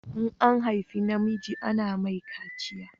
In an haifa namiji ana mai kaciya